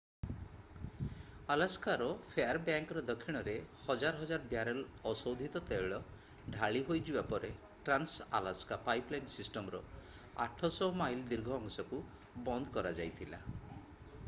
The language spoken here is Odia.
ଆଲାସ୍କାର ଫେୟାରବ୍ୟାଙ୍କର ଦକ୍ଷିଣରେ ହଜାର ହଜାର ବ୍ୟାରେଲ୍‌ ଅଶୋଧିତ ତୈଳ ଢାଳି ହୋଇଯିବା ପରେ ଟ୍ରାନ୍ସ-ଆଲାସ୍କା ପାଇପଲାଇନ୍‌ ସିଷ୍ଟମ୍‌ର 800 ମାଇଲ ଦୀର୍ଘ ଅଂଶକୁ ବନ୍ଦ କରାଯାଇଥିଲା।